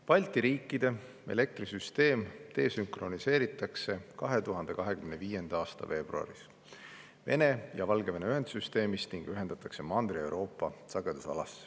Balti riikide elektrisüsteem desükroniseeritakse 2025. aasta veebruaris Vene ja Valgevene ühendsüsteemist ning ühendatakse Mandri-Euroopa sagedusalaga.